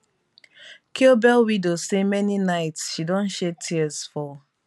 kiobel widow say many nights she don shed tears for